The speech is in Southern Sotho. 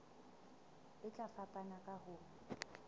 e tla fapana ka ho